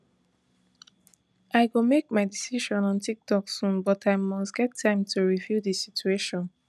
i go make my decision on tiktok soon but i must get time to review di situation